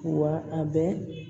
Wa a bɛ